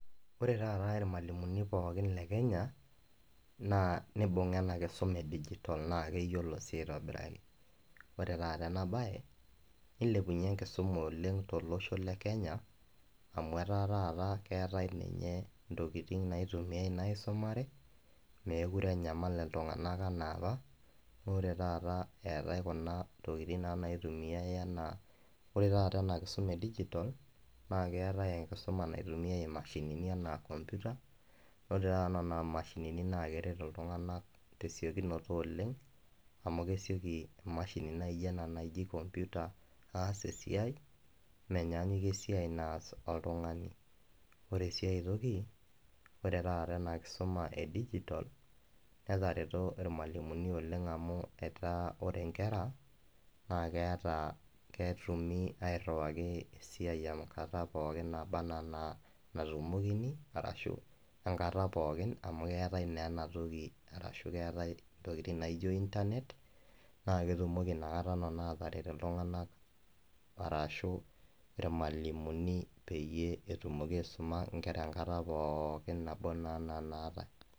oree taata irmalimuni pooki le kenya naa neibung'a ena kisuma ee digital toonaa keyiolo sii aitobirai ore taata ena baye neilepunye enkisuma oleng' tolosho le kenya amu etaa taata keetae ninye intokiting' naitumiyai naa aisumare meekure enyamal iltung'anak enaa apa amu ore taata eetae kuna tokiting' naa naitumiyai enaa oree taata ena kisuma ee digital naa keetae enkisuma naitumiai imashinini enaa computer oree naa taata nena mashinini naa keret iltung'anak tee siokinoto oleng' amu kesioki emashini najo ena najii computer aas esiai menyanyikie esiai naas oltung'ani oree sii aitoki oree taata ena kisuma ee digital netareto irmalimini oleng' amu etaa ore inkera naa keyata ketumi airriwaki eesiai enkata pookin naaba enaa natumokini arashu enkata pookin amu keetae naa ena toki arashuu keetae ntokiting' naijo internet naa ketumoki ina kata neno aataret iltung'anak arashu irmalimuni peeyie etumoki aisuma inkera enkata pookin naboo naa natae.